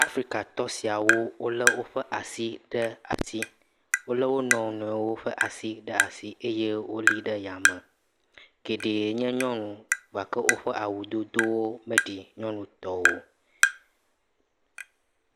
Africatɔ siawo wole woƒe asi ɖe asi le wonɔnɔewo ƒe asi ɖe asi eye woli ɖe yame geɖe nye nyɔnu gake woƒe awudodo meɖi nyɔnu tɔ o